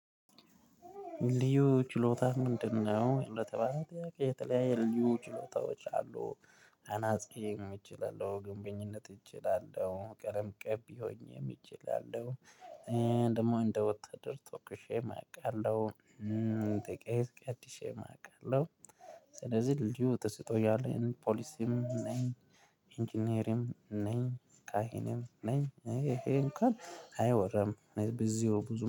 ልዩ ችሎታህ ምንድነው? ለተባለው የተለያዩ ችሎታዎች አሉ አናጺ እችላለው ግንበኝነት እችላለሁ ቀለም ቀቢ ሆኜ እችላለው እንደ ወታደር ተኩሸም አውቃለሁ። እንደ ቄስ ቀድሸም አውቃለሁ። ስለዚህ ልዩ ተስጦ ያለኝ ፖሊሲም ነኝ። ኢንጂነሪም ነኝ ካህንም ነኝ ይሄ እንኳን አይወራም። ብዙ